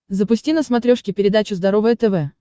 запусти на смотрешке передачу здоровое тв